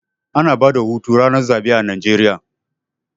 Ana bada hutu ranar zaɓe a Najeriya